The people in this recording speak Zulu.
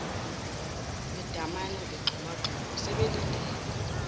bedamane begxumagxuma sebelindele